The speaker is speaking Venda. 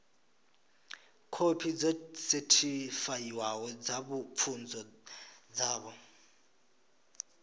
khophi dzo sethifaiwaho dza pfunzo dzavho